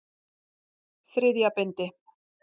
Þriðja bindi.